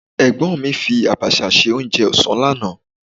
Ẹ̀gbọ́n mi fi Àbàshà ṣe oúnjẹ ọ̀sán lánàá.